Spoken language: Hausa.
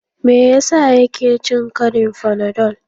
Me yasa yake cin karin fanadol?